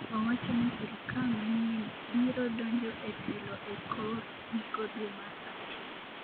owacho ni sirikal manyien piro donjo e telo e kor giko dwe mar achiel